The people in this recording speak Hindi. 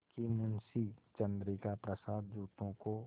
कि मुंशी चंद्रिका प्रसाद जूतों को